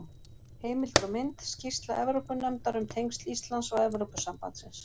Heimildir og mynd: Skýrsla Evrópunefndar um tengsl Íslands og Evrópusambandsins.